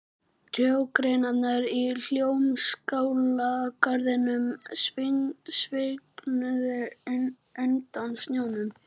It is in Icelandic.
Trjágreinarnar í Hljómskálagarðinum svignuðu undan snjónum.